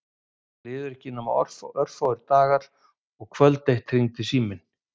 Það liðu ekki nema örfáir dagar og kvöld eitt hringdi síminn.